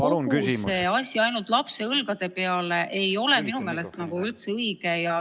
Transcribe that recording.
Jätta kogu see asi ainult lapse õlgadele ei ole minu meelest üldse õige.